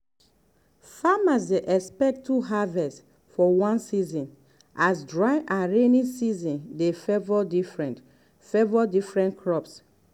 farmers dey expect two harvest for one year as dry and rainy season dey favour different favour different crops.